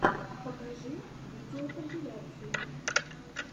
покажи видеокомпиляции